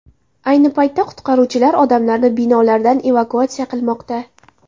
Ayni paytda qutqaruvchilar odamlarni binolardan evakuatsiya qilmoqda.